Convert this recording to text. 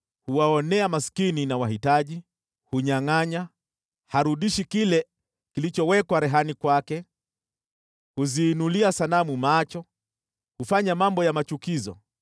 Huwaonea maskini na wahitaji. Hunyangʼanyana. Harudishi kile kilichowekwa rehani kwake. Huziinulia sanamu macho. Hufanya mambo ya machukizo.